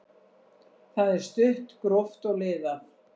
Það er stutt, gróft og liðað.